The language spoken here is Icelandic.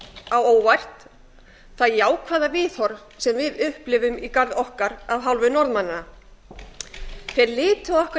á óvart það jákvæða viðhorf sem við upplifum í garð okkar af hálfu norðmanna þeir litu okkur